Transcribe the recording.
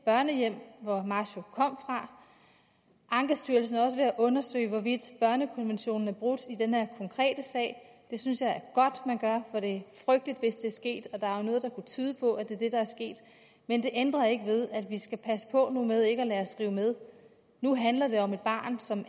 børnehjem hvor masho kom fra ankestyrelsen er også ved at undersøge hvorvidt børnekonventionen er brudt i den her konkrete sag og det synes jeg er godt man gør for det frygteligt hvis det er sket og der er jo noget der kunne tyde på at det er det der er sket men det ændrer ikke ved at vi skal passe på nu med ikke at lade os rive med nu handler det om et barn som